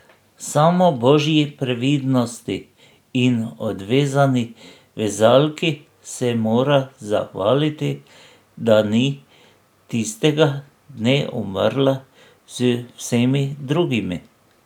Samo božji previdnosti in odvezani vezalki se mora zahvaliti, da ni tistega dne umrla z vsemi drugimi.